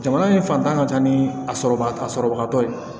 Jamana in fantan ka ca ni a sɔrɔ a sɔrɔbagatɔ ye